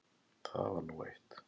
Það var nú eitt.